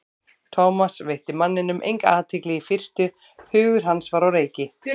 Thomas veitti manninum enga athygli í fyrstu, hugur hans var á reiki.